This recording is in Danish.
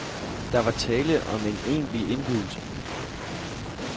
Der var tale om en egentlig indbydelse.